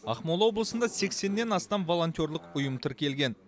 ақмола облысында сексеннен астам волонтерлік ұйым тіркелген